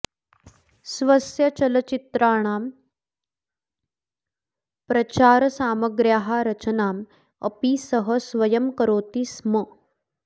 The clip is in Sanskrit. स्वस्य चलच्चित्राणां प्रचारसामग्र्याः रचनाम् अपि सः स्वयं करोति स्म